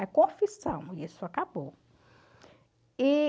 É confissão e isso acabou. E...